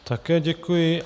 Také děkuji.